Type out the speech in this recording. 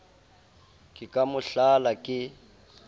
ke ka mo hlala ke